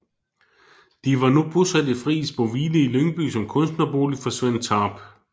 De var nu bosat i Frieboeshvile i Lyngby som kunstnerbolig for Svend Tarp